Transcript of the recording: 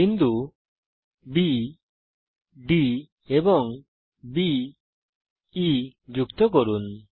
বিন্দু B D এবং B E কে যুক্ত করুন